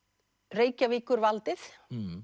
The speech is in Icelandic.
Reykjavíkurvaldið